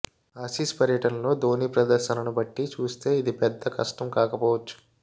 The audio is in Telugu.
ఆసీస్ పర్యటనలో ధోనీ ప్రదర్శనను బట్టి చూస్తే ఇది పెద్ద కష్టం కాకపోవచ్చు